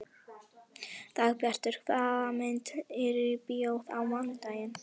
Dagbjartur, hvaða myndir eru í bíó á mánudaginn?